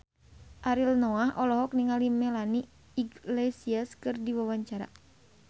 Ariel Noah olohok ningali Melanie Iglesias keur diwawancara